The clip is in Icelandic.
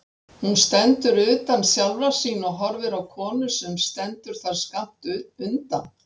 Hún stendur utan sjálfrar sín og horfir á konu sem stendur þar skammt undan.